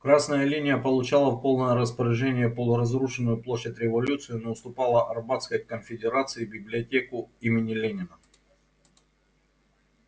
красная линия получала в полное распоряжение полуразрушенную площадь революции но уступала арбатской конфедерации библиотеку имени ленина